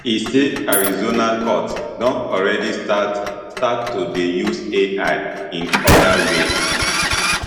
e say arizona courts don already start start to dey use ai in oda ways